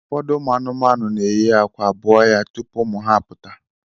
Ụfọdụ ụmụ anụmanụ na-eyi akwa, bụọ ya tupu ụmụ ha apụta